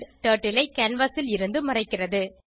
turtle ஐ canvas ல் இருந்து மறைக்கிறது